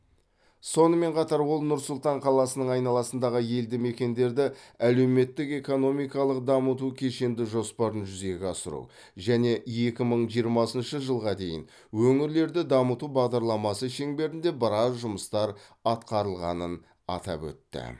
сонымен қатар ол нұр сұлтан қаласының айналасындағы елді мекендерді әлеуметтік экономикалық дамыту кешенді жоспарын жүзеге асыру және екі мың жиырмасыншы жылға дейін өңірлерді дамыту бағдарламасы шеңберінде біраз жұмыстар атқарылғанын атап өтті